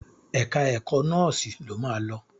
Ẹ̀ka ẹ̀kọ́ nọ́sìnnì lo máa lọ.